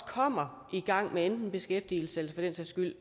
kommer i gang med enten beskæftigelse